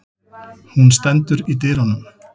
Hún stendur í dyrunum.